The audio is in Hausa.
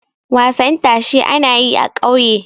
wasan tashe ana yi a ƙauye